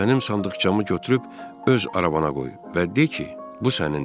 Mənim sandıqçamı götürüb öz arabana qoy və de ki, bu sənindir.